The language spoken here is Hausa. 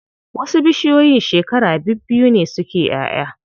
Wasu bishiyoyin shekara bibbiyu ne suke ƴaʼya.